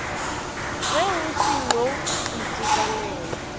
ge o se no itekanela